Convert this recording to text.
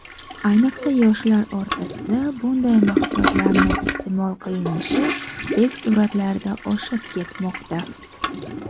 ayniqsa yoshlar orasida bunday mahsulotlarni iste’mol qilinishi tez sur’atlarda oshib ketmoqda.